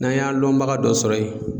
N'an y'an lɔnbaga dɔ sɔrɔ yen.